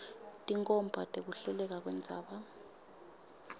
tinkhomba tekuhleleka kwendzaba